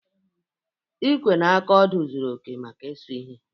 Ikwee na aka odọọ zuru oke maka ịsụ ihe.